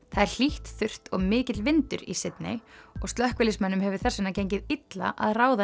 það er hlýtt þurrt og mikill vindur í Sydney og slökkviliðsmönnum hefur þess vegna gengið illa að ráða